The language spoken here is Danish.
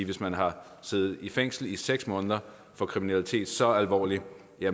hvis man har siddet i fængsel i seks måneder for kriminalitet så alvorlig